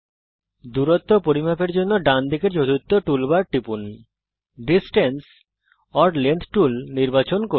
দূরত্ব পরিমাপ করার জন্যে ডান দিকের চতুর্থ টুল বার টিপুন এবং ডিসট্যান্স ওর লেংথ টুল নির্বাচন করুন